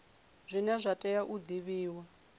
zwine zwa tea u divhiwa